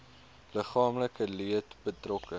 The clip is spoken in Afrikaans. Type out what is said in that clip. liggaamlike leed betrokke